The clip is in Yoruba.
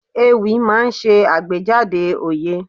Ewì máa ń ṣe àgbéjáde òye.